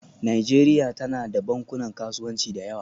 Najeriya tana da bankunan kasuwanci da yawa